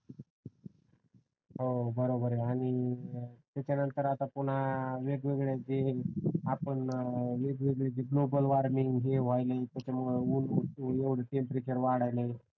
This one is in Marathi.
हो बरोबर आहे आणि त्यानंतर आता पुन्हा वेगवेगळे जे आपण वेगवेगळे जे गॉगल वॉर्मिंग हे व्हायला त्याच्यामुळे एवढा टेंपरेचर वाढायले